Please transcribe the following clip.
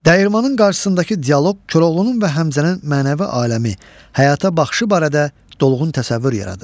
Dəyirmanın qarşısındakı dialoq Koroğlunun və Həmzənin mənəvi aləmi, həyata baxışı barədə dolğun təsəvvür yaradır.